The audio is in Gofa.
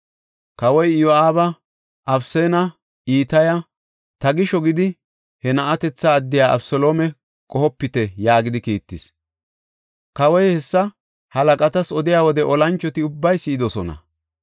Kawoy Iyo7aaba, Abisanne Itaya, “Ta gisho gidi, he na7atetha addiya Abeseloome qohopite” yaagidi kiittis. Kawoy hessa halaqatas odiya wode olanchoti ubbay si7idosona.